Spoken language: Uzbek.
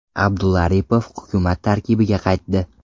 Abdulla Aripov hukumat tarkibiga qaytdi.